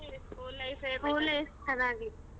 school life .